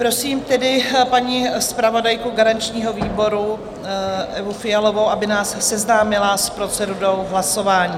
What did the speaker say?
Prosím tedy paní zpravodajku garančního výboru Evu Fialovou, aby nás seznámila s procedurou hlasování.